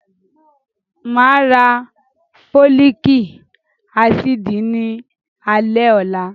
Màá ra Fólíkì ásíìdì ní alẹ́ ọ̀la.